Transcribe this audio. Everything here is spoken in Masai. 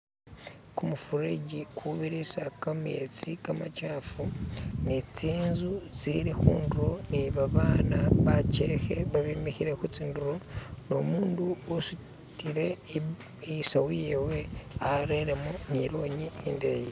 Kumufureju kubirisa khametsi kamachafu ni tsinzu tsili khuduro ni babana bajekhe babimikhile khutsinduro nu mundu usutile isawu yewe areremo ni lonyi indeyi